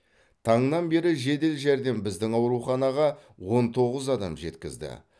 таңнан бері жедел жәрдем біздің ауруханаға он тоғыз адам жеткізді